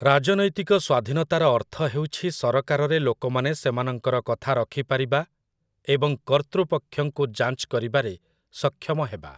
ରାଜନୈତିକ ସ୍ୱାଧୀନତାର ଅର୍ଥ ହେଉଛି ସରକାରରେ ଲୋକମାନେ ସେମାନଙ୍କର କଥା ରଖିପାରିବା ଏବଂ କର୍ତ୍ତୃପକ୍ଷଙ୍କୁ ଯାଞ୍ଚ କରିବାରେ ସକ୍ଷମ ହେବା ।